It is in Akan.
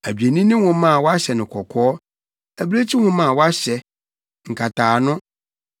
adwennini nwoma a wɔahyɛ no kɔkɔɔ, abirekyi nwoma a wɔahyɛ, nkataano,